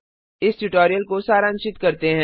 इस ट्यूटोरियल को सारांशित करते हैं